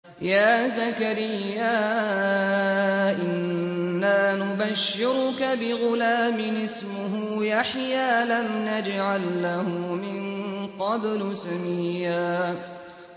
يَا زَكَرِيَّا إِنَّا نُبَشِّرُكَ بِغُلَامٍ اسْمُهُ يَحْيَىٰ لَمْ نَجْعَل لَّهُ مِن قَبْلُ سَمِيًّا